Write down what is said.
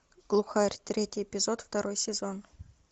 глухарь третий эпизод второй сезон